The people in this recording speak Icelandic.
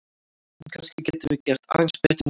En kannski getum við gert aðeins betur en þetta!